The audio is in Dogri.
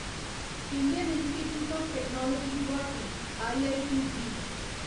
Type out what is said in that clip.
Indian institute of technology Guwahati IIT JEE